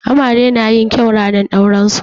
Amare na yin kyau ranar auren su.